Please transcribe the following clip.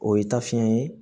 O ye tafini ye